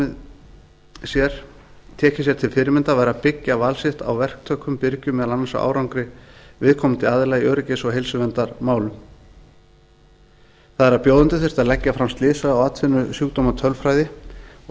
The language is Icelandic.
gætu tekið sér til fyrirmyndar væri að byggja val sitt á verktökum birgjum meðal annars á árangri viðkomandi aðila í öryggis og heilsuverndarmálum það er að bjóðendur þyrftu að leggja fram slysa og atvinnusjúkdómatölfræði og